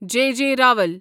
J جے راول